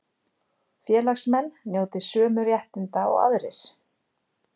Félagsmenn njóti sömu réttinda og aðrir